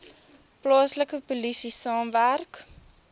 plaaslike polisie saamwerk